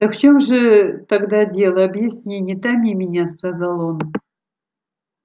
так в чём же тогда дело объясни не томи меня сказал он